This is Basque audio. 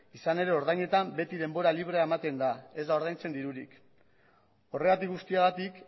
izan ere ordainetan beti denbora librea ematen da ez da ordaintzen dirurik horregatik guztiagatik